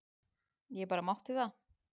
Ég bara mátti það!